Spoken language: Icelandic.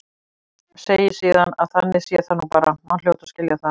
Segi síðan að þannig sé það nú bara, hann hljóti að skilja það.